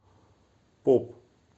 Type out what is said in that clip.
поп